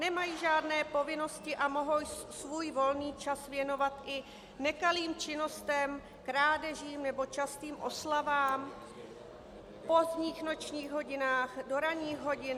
Nemají žádné povinnosti a mohou svůj volný čas věnovat i nekalým činnostem, krádežím nebo častým oslavám v pozdních nočních hodinách, do ranních hodin.